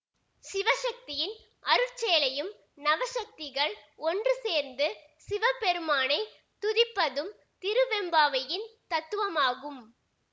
சிவசக்தியின் அருட்செயலையும் நவசக்திகள் ஒன்றுசேர்ந்து சிவபெருமானைத் துதிப்பதும் திருவெம்பாவையின் தத்துவமாகும்